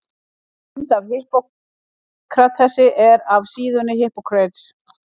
Mynd af Hippókratesi er af síðunni Hippocrates.